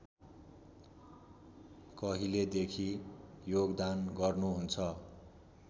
कहिलेदेखि योगदान गर्नुहुन्छ